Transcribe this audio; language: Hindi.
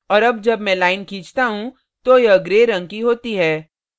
और अब जब मैं line खींचता हूँ तो यह gray रंग की होती है